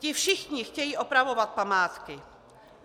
Ti všichni chtějí opravovat památky.